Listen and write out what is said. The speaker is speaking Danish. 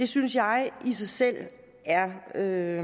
synes jeg i sig selv er